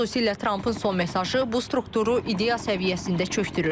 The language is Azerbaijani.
Xüsusilə Trampın son mesajı bu strukturu ideya səviyyəsində çökdürür.